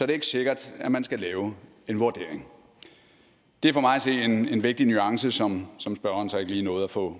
det ikke sikkert at man skal lave en vurdering det er for mig at se en en vigtig nuance som som spørgeren så ikke lige nåede at få